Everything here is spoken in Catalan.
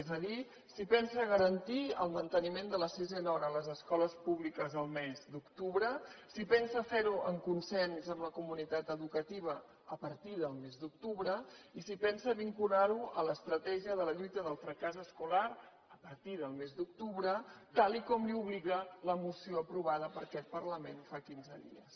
és a dir si pensa garantir el manteniment de la sisena hora a les escoles públiques el mes d’octubre si pensa fer ho amb consens amb la comunitat educativa a partir del mes d’octubre i si pensa vincular ho a l’estratègia de la lluita del fracàs escolar a partir del mes d’octubre tal com l’obliga la moció aprovada per aquest parlament fa quinze dies